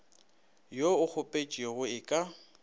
wo o kgopetšwego e ka